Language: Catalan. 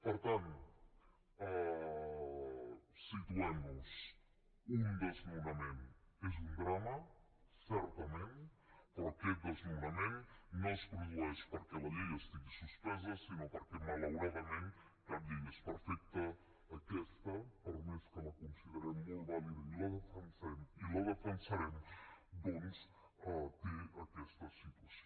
per tant situem nos un desnonament és un drama certament però aquest desnonament no es produeix perquè la llei estigui suspesa sinó perquè malauradament cap llei és perfecta aquesta per més que la considerem molt vàlida i la defensem i la defensarem doncs té aquesta situació